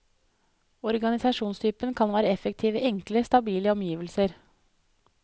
Organisasjonstypen kan være effektiv i enkle, stabile omgivelser.